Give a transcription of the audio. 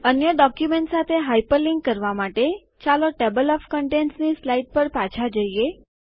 અન્ય ડોક્યુમેન્ટ સાથે હાઇપરલિન્ક કરવા માટે ચાલો ટેબલ ઓએફ કન્ટેન્ટ્સ ની સ્લાઈડ પર પાછા જાઓ